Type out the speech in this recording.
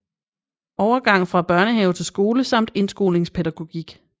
Overgang fra børnehave til skole samt indskolingspædagogik